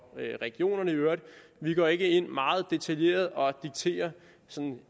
regionerne i øvrigt vi går ikke ind meget detaljeret og dikterer